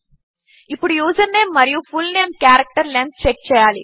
ఇప్పుడు యూజర్నేమ్ మరియు full name character length check చేయాలి